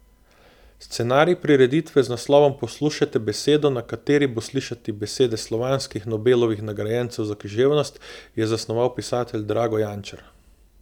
Scenarij prireditve z naslovom Poslušajte besedo, na kateri bo slišati besede slovanskih Nobelovih nagrajencev za književnost, je zasnoval pisatelj Drago Jančar.